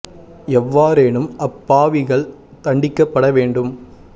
எவ்வாறேனும் அப் பாவிகள் தண்டிக்கப்பட வேண்டும்